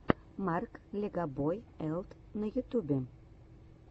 марк легобой элт на ютюбе